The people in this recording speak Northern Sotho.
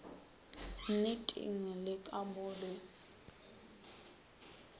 nneteng le ka mo re